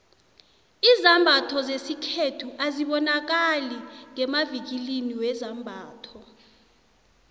izambatho zesikhethu azibonakali ngemavikilini wezambatho